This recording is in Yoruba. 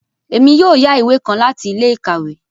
Èmí yóò yá ìwé kàn láti ilé-ìkawe